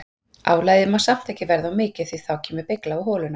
Álagið má samt ekki verða of mikið því að þá kemur beygja á holuna.